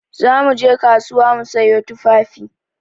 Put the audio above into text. Za mu je kasuwa mu sayo tufafi.